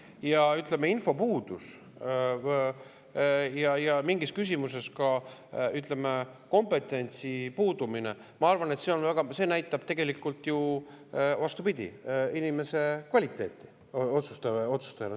Ja, ütleme, infopuudust ja mingis küsimuses ka kompetentsi puudumist, siis ma arvan, et see näitab tegelikult ju, vastupidi, inimese kvaliteeti otsustajana.